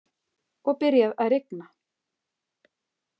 Og byrjað að rigna.